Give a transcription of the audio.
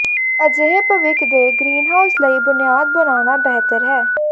ਪਰ ਅਜਿਹੇ ਭਵਿੱਖ ਦੇ ਗ੍ਰੀਨਹਾਊਸ ਲਈ ਬੁਨਿਆਦ ਬਣਾਉਣਾ ਬਿਹਤਰ ਹੈ